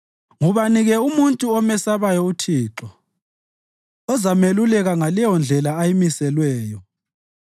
Ngubani-ke umuntu omesabayo uThixo? Uzameluleka ngaleyondlela ayimiselweyo.